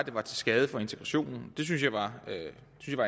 var til skade for integrationen det synes jeg var